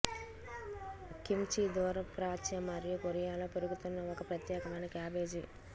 kimchi దూర ప్రాచ్య మరియు కొరియాలో పెరుగుతున్న ఒక ప్రత్యేకమైన క్యాబేజీ